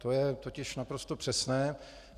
To je totiž naprosto přesné.